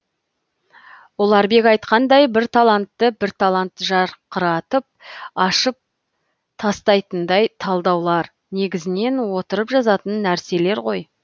ұларбек айтқандай бір талантты бір талант жарқыратып ашып атстайтындай талдаулар негізінен отырып жазатын нәрселер ғой